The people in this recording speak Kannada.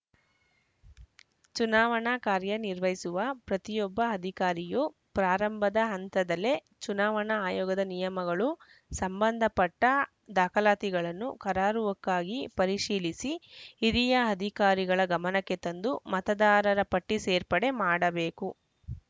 ಚುನಾವಣಾ ಕಾರ್ಯ ನಿರ್ವಹಿಸುವ ಪ್ರತಿಯೊಬ್ಬ ಅಧಿಕಾರಿಯೂ ಪ್ರಾರಂಭದ ಹಂತದಲ್ಲೇ ಚುನಾವಣಾ ಆಯೋಗದ ನಿಯಮಗಳು ಸಂಬಂಧಪಟ್ಟ ದಾಖಲಾತಿಗಳನ್ನು ಕರಾರುವಕ್ಕಾಗಿ ಪರಿಶೀಲಿಸಿ ಹಿರಿಯ ಅಧಿಕಾರಿಗಳ ಗಮನಕ್ಕೆ ತಂದು ಮತದಾರರ ಪಟ್ಟಿಸೇರ್ಪಡೆ ಮಾಡಬೇಕು